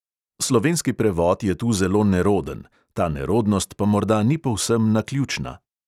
Slovenski prevod je tu zelo neroden, ta nerodnost pa morda ni povsem naključna.